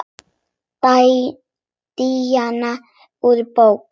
Díana úr bók.